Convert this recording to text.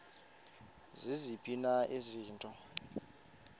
ziziphi na izinto